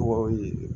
Mɔgɔw ye